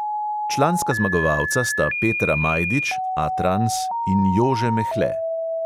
Članska zmagovalca sta petra majdič in jože mehle.